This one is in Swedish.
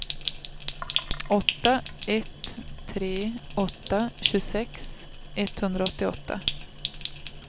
åtta ett tre åtta tjugosex etthundraåttioåtta